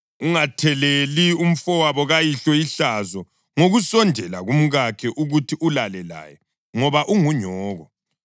Ungatheleli umfowabo kayihlo ihlazo ngokusondela kumkakhe ukuthi ulale laye, ngoba ungunyoko.